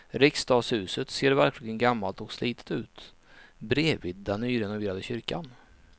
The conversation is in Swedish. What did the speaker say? Riksdagshuset ser verkligen gammalt och slitet ut bredvid den nyrenoverade kyrkan.